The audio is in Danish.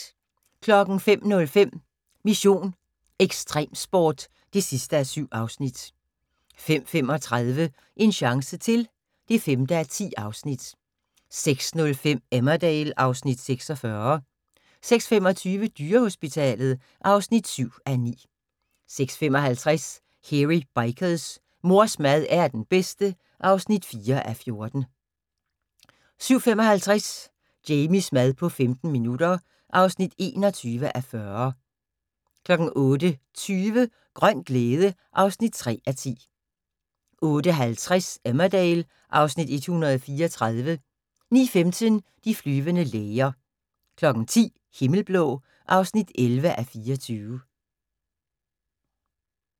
05:05: Mission: Ekstremsport (7:7) 05:35: En chance til (5:10) 06:05: Emmerdale (Afs. 46) 06:25: Dyrehospitalet (7:9) 06:55: Hairy Bikers: Mors mad er den bedste (4:14) 07:55: Jamies mad på 15 minutter (21:40) 08:20: Grøn glæde (3:10) 08:50: Emmerdale (Afs. 134) 09:15: De flyvende læger 10:00: Himmelblå (11:24)